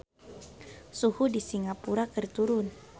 Suhu di Singapura keur turun